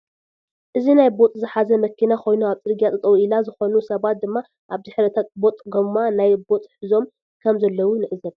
እዚ ናይ ቦጥ ዝሓዘ መኪና ኮይኑ ኣብ ፅርግያ ጠጠው ኢላ ዝኮኑ ሰባት ድማ ኣብ ዲሕሪ እታ ቦጥ ጎማ ናይ ቦጥ ሕዞም ከም ዘለው ንዕዘብ።